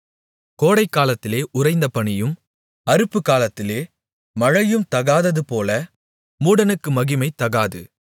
கோடைக்காலத்திலே உறைந்த பனியும் அறுப்புக்காலத்திலே மழையும் தகாததுபோல மூடனுக்கு மகிமை தகாது